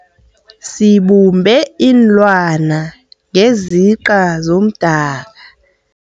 Sibumbe iinlwana ngesiqa somdaka.